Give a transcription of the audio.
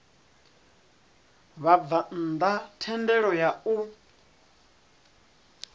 vhabvann ḓa thendelo ya u